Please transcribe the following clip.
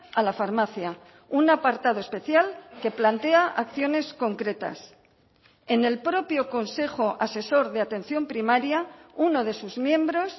a la farmacia un apartado especial que plantea acciones concretas en el propio consejo asesor de atención primaria uno de sus miembros